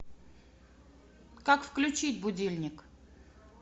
как включить будильник